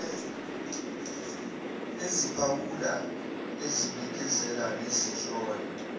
eziphawula ezibikezela nezihlola